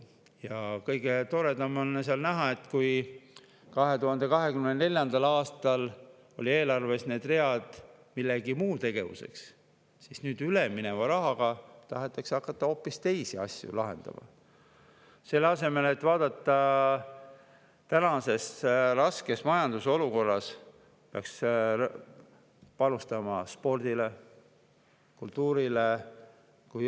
Ja kõige toredam on näha, et 2024. aastal olid eelarves need read mingiks muuks tegevuseks, aga nüüd tahetakse ülemineva rahaga hakata hoopis teisi asju lahendama, selle asemel et tänast rasket majandusolukorda, kus peaks panustama spordile, kultuurile.